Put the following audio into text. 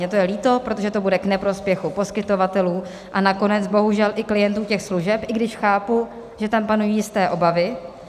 Mně to je líto, protože to bude k neprospěchu poskytovatelů, a nakonec bohužel i klientů těch služeb, i když chápu, že tam panují jisté obavy -